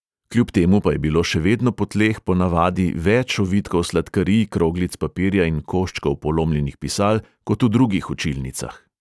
Kljub temu pa je bilo še vedno po tleh ponavadi več ovitkov sladkarij, kroglic papirja in koščkov polomljenih pisal kot v drugih učilnicah.